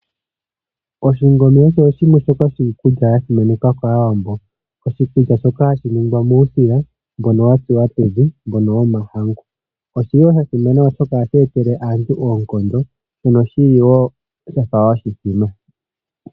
Oshingome osho shimwe shoka shiikulya ya simanekwa kaawambo, oshikulya shoka hashi ningwa muusila mbono watsuwa pevi, mbono womahangu. oshili woo shasimana oshoka ohashi etele aantu oonkondo mono shili woo shafa oshithima.